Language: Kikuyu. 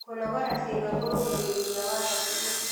Kũnogora ciĩga kũrũngagĩrĩrĩa wa hakĩrĩ